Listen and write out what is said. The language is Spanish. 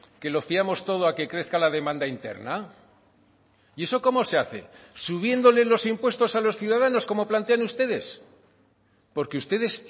que lo fiamos todo a que crezca la demanda interna y eso cómo se hace subiéndoles los impuestos a los ciudadanos como plantean ustedes porque ustedes